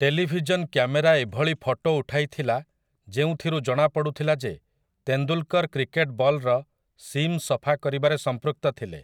Television camera ଏଭଳି photo ଉଠାଇଥିଲା ଯେଉଁଥିରୁ ଜଣାପଡ଼ୁଥିଲା ଯେ ତେନ୍ଦୁଲ୍‌କର୍‌ କ୍ରିକେଟ୍ ବଲ୍‌ର ସିମ୍ ସଫା କରିବାରେ ସଂପୃକ୍ତ ଥିଲେ ।